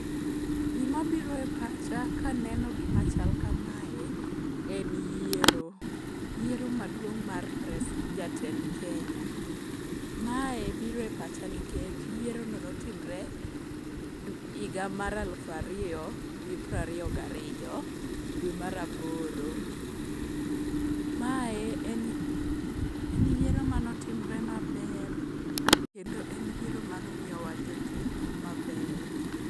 Gimabiro e pacha kaneno gima chal kamae en yiero . Yiero maduong' mar jatend Kenya. Mae biro e pacha nikech yierono notimre higa mar aluf ariyo gi prariyo gariyo dwe mar aboro. Mae en yiero manotimre maber, kendo en yiero mano miyowa jotelo mabeyo.